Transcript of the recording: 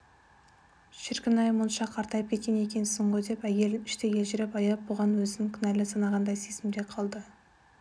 шіркін-ай мұнша қартайып кеткен екенсің ғой деп әйелін іштей елжірей аяп бұған өзін кінәлі санағандай сезімде қалды